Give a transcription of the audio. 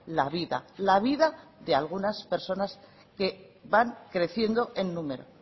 la vida la vida de algunas personas que van creciendo en número